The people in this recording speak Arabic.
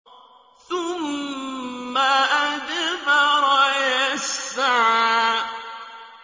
ثُمَّ أَدْبَرَ يَسْعَىٰ